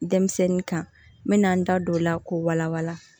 Denmisɛnnin kan n bɛna n da don o la k'o wala wala